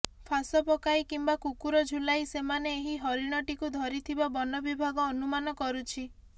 ଫାଶ ପକାଇ କିମ୍ବା କୁକୁର ଝୁଲାଇ ସେମାନେ ଏହି ହରିଣଟିକୁ ଧରିଥିବା ବନବିଭାଗ ଅନୁମାନ କରୁଛି